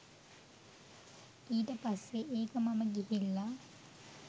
ඊට පස්සේ ඒක මම ගිහිල්ලා